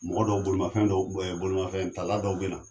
Mɔgɔ dɔw bolImafɛn dɔw , ɛɛ bolimafɛn tala dɔw be na.